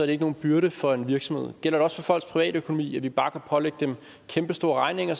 det ikke nogen byrde for en virksomhed gælder det også for folks privatøkonomi at vi bare pålægge dem kæmpestore regninger